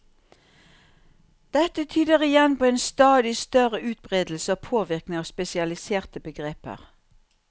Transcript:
Dette tyder igjen på en stadig større utbredelse og påvirkning av spesialiserte begreper.